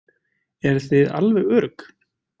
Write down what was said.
Eruð þið alveg örugg?